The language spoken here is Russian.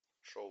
шоу